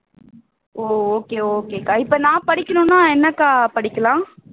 oa okay okay அக்கா இப்போ நான் படிக்கணும்னா என்னக்கா படிக்கலாம்